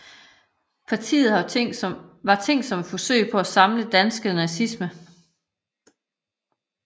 Partiet var tænkt som et forsøg på at samle dansk nazisme